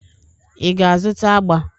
Ị ga-azụta agba?